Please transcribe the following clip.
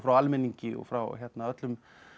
almenningi og frá öllum